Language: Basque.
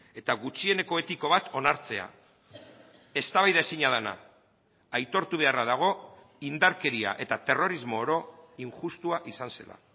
eta gutxieneko etiko bat onartzea eztabaidaezina dena aitortu beharra dago indarkeria eta terrorismo oro injustua izan zela